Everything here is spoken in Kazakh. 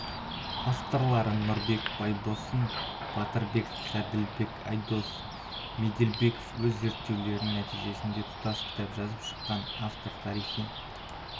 авторлары нұрбек байбосын батырбек ғаділбек айдос меделбеков өз зерттеулерінің нәтижесінде тұтас кітап жазып шыққан автор тарихи